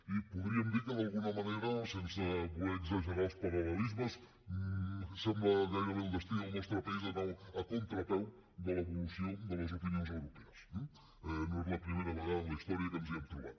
i podríem dir que d’alguna manera sense voler exagerar els paral·lelismes sembla gairebé el destí del nostre país d’anar a contrapeu de l’evolució de les opinions europees eh no és la primera vegada en la història que ens hi hem trobat